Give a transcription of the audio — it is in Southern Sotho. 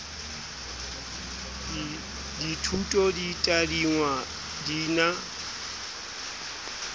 dithuto di tadingwa di na